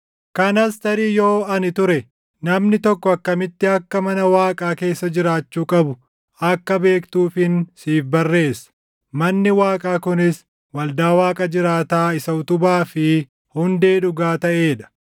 kanas tarii yoo ani ture, namni tokko akkamitti akka mana Waaqaa keessa jiraachuu qabu akka beektuufin siif barreessa; manni Waaqaa kunis waldaa Waaqa jiraataa isa utubaa fi hundee dhugaa taʼee dha.